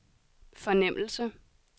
fornemmelse